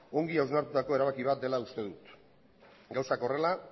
ongi hausnartutako erabaki bat dela uste dut gauzak horrela